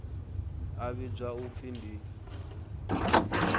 a vhidzwa u pfi ndi